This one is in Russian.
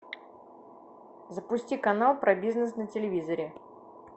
запусти канал про бизнес на телевизоре